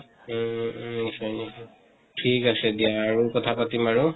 উম উম । ঠিক আছে দিয়া আৰু কথা পাতিম বাৰু